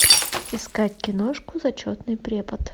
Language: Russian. искать киношку зачетный препод